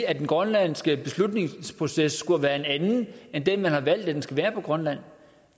at den grønlandske beslutningsproces skulle have været en anden end den man har valgt at den skal være på grønland